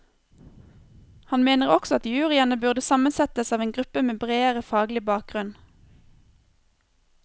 Han mener også at juryene burde sammensettes av en gruppe med bredere faglig bakgrunn.